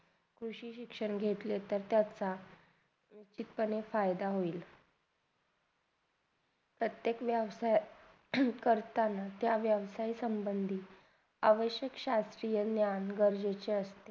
कृषी शिक्षण घेतले तर त्याचा अनिक पणे फायदा होईल प्रत्येक माणसं असे करताना त्या व्यवसही समभंडीत आवश्यक शास्त्रीय ज्ञान आवश्यक आहे.